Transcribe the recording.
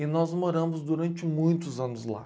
E nós moramos durante muitos anos lá.